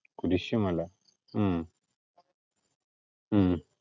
കുരിശൂമല ഉം ഉം